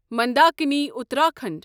Mandakini Uttarakhand